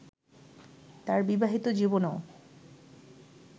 তার বিবাহিত জীবনও